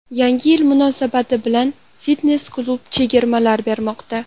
Yangi yil munosabati bilan fitnes-klub chegirmalar bermoqda.